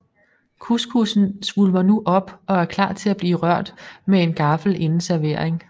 Couscoussen svulmer nu op og er klar til blive rørt rundt med en gaffel inden servering